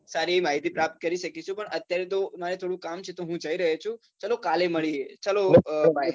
સારી માહિતી પ્રાપ્ત કરી શકીશું પણ અત્યારે તો મારે થોડુંક કામ છે તો હું જઈ રહ્યો છુ ચાલો કાલે મળીએ ચલો bye